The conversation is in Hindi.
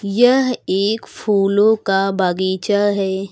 यह एक फूलों का बागीचा है।